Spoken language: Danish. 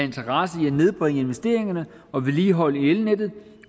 interesse i at nedbringe investeringerne og vedligehold af elnettet